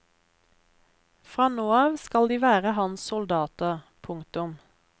Fra nå av skal de være hans soldater. punktum